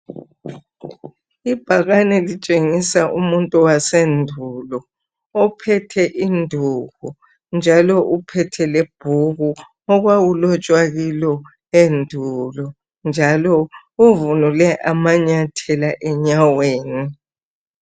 Ibhakane litshengisa umuntu wasendulo ophethe induku njalo ephethe ibhuku okulotshwe khona into zendulo njalo egqoke amanyathela.